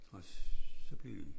Og så blev de